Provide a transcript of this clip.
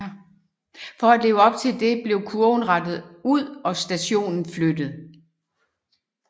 For at leve op til det blev kurven rettet ud og stationen flyttet